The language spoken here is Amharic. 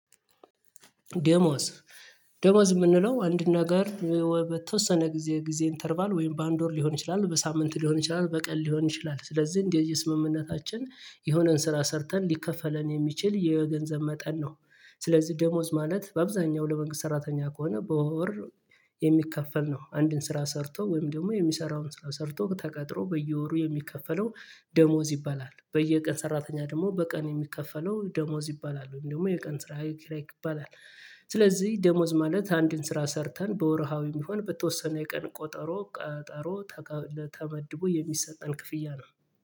ደሞዝ ደሞዝ የምንለው አንድ ነገር በተወሰነ ጊዜ ጊዜ እንተርባል ወይም በአንድ ወር ሊሆን ይችላል በሳምንት ሊሆን ይችላል በቀን ሊሆን ይችላል ስለዚህ እንደየ ስምምነታችን የሆነን ስራ ሰርተን ሊከፈለን የሚችል የገንዘብ መጠን ነው። ስለዚህ ደሞዝ ማለት በአብዛኛው ለመንግስት ሰራተኛ ከሆነ በወር የሚከፈል ነው አንድን ስራ ሰርቶ ወይም ደግሞ የሚሰራውን ስራ ሰርቶ ተቀጥሮ በየወሩ የሚከፈለው ደሞዝ ይባላል። በየቀን ሰራተኛ ደግሞ በቀን የሚከፈለው ደሞዝ ይባላል ወይም ደግሞ የቀን ስራ ኪራይ ይባላል። ስለዚህ ደሞዝ ማለት አንድን ስራ ሰርተን በወርሃዊ የሚሆን በተወሰነ የቀን ቆጠሮ ቀጠሮ ተቀብለን ተመድቦ የሚሰጠን ክፍያ ነው